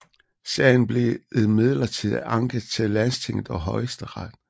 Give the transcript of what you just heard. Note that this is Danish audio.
Sagen blev imidlertid anket til landstinget og højesteret